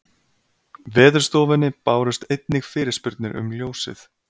Veðurstofunni bárust einnig fyrirspurnir um ljósið